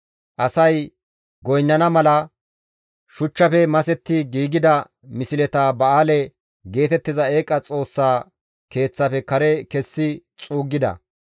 Asay goynnana mala shuchchafe masetti giigida misleta ba7aale geetettiza eeqa xoossaa keeththafe kare kessi xuuggida.